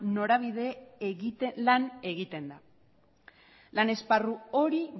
norabide lan egiten da lan esparru hori